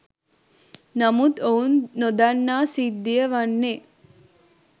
නමුත් ඔවුන් නොදන්නා සිද්ධිය වන්නේ